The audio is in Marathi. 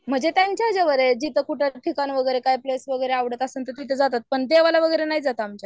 म्हणजे त्यांच्या ह्याच्यावर आहे जिथं कुठं वगैरे कुठलं ठिकाण वगैरे प्लेस वैगेरे आवडत असेल तर तिथं जातात पण देवला वगैरे नाही जात आमच्यात